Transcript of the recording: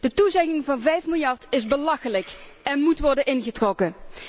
De toezegging van vijf miljard is belachelijk en moet worden ingetrokken.